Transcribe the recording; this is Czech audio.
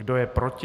Kdo je proti?